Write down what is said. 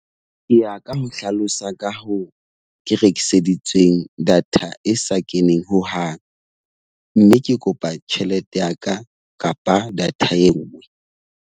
Ke ya ka mo hlalosa. Ka hoo ke rekiseditsweng data e sa keneng hohang. Mme ke kopa tjhelete ya ka kapa data e nngwe.